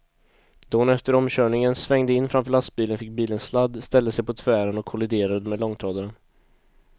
Då hon efter omkörningen svängde in framför lastbilen fick bilen sladd, ställde sig på tvären och kolliderade med långtradaren.